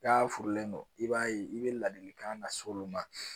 Ka furulen don i b'a ye i bɛ ladilikan lase olu ma